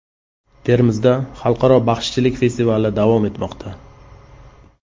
Termizda xalqaro baxshichilik festivali davom etmoqda.